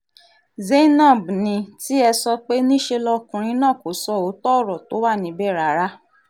zainab ní tiẹ̀ sọ pé níṣe lọkùnrin náà kò sọ òótọ́ ọ̀rọ̀ tó wà níbẹ̀ rárá